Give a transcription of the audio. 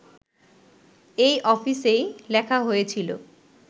এই অফিসেই লেখা হয়েছিলো